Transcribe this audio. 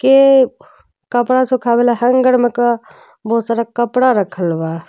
के कपड़ा सूखावे वाला हैंगर में क बहुत सारा कपड़ा रखल बा।